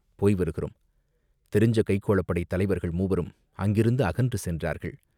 போய் வருகிறோம்!" தெரிஞ்ச கைக்கோளப் படைத் தலைவர்கள் மூவரும் அங்கிருந்து அகன்று சென்றார்கள்.